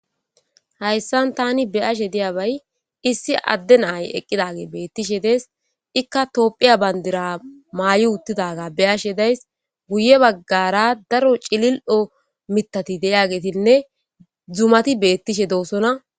Hayssan thaani be7ashe diyaabay issi addde na7ay eqqidaagee beeththishe dees; ikka toophphiya banddira maayi uthidaagaa be7ashe days; guyye baggaara daro cilil7o miththathi de7iyaageethinne zumathi beeththishe doosona.